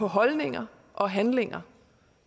holdninger og handlinger